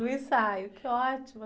No ensaio, que ótimo.